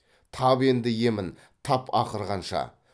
тап енді емін тап ақырғанша